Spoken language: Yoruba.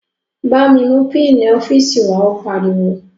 Bámi mú pínǹì ọ́fíìsì wàá, ó pariwo